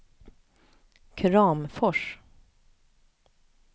Kramfors